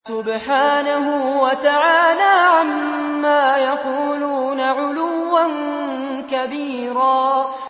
سُبْحَانَهُ وَتَعَالَىٰ عَمَّا يَقُولُونَ عُلُوًّا كَبِيرًا